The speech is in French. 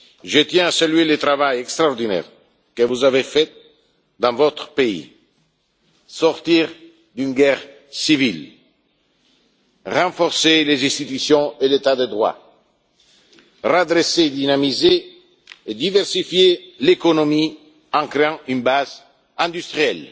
Je tiens à saluer le travail extraordinaire que vous avez effectué dans votre pays sortir d'une guerre civile, renforcer les institutions et l'État de droit, redresser, dynamiser et diversifier l'économie en créant une base industrielle,